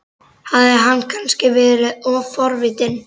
Hafði hann kannski verið of forvitin?